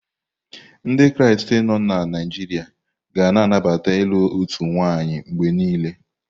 Ndị Kraịst nọ na Naijiria ga na anabata ilu otu nwanyị mgbe niile.